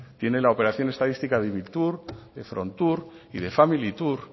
tiene la operación estadística de de frontur y de familitur